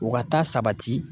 O ka taa sabati